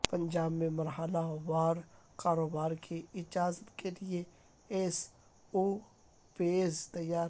پنجاب میں مرحلہ وار کاروبار کی اجازت کےلئے ایس او پیز تیار